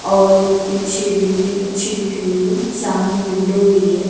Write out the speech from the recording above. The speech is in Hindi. और पीछे बिल्डिंग अच्छी दिख रही है सामने विंडो भी है।